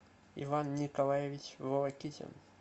иван николаевич волокитин